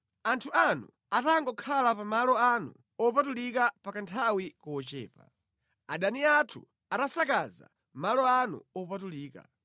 Anthu anu atangokhala pa malo anu opatulika pa kanthawi kochepa, adani athu anasakaza malo anu opatulika.